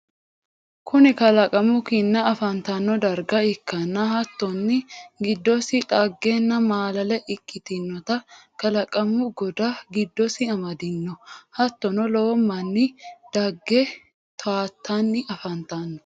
kuni kalaqamu kinna afantanno darga ikkannana hattonni giddosi dhaggenna maalale ikkitannota kalaqamu godda giddosi amadino. hattonni lowo manni dagge tawatanni afantanno.